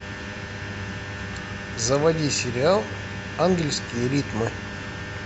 заводи сериал английские ритмы